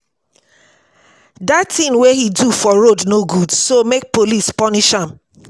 dat thing wey he do for road no good so make police punish am